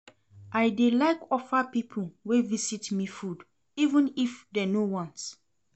I dey like offer pipo wey visit me food even if dem no want.